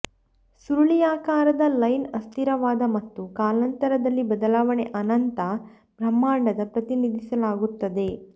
ಸುರುಳಿಯಾಕಾರದ ಲೈನ್ ಅಸ್ಥಿರವಾದ ಮತ್ತು ಕಾಲಾಂತರದಲ್ಲಿ ಬದಲಾವಣೆ ಅನಂತ ಬ್ರಹ್ಮಾಂಡದ ಪ್ರತಿನಿಧಿಸಲಾಗುತ್ತದೆ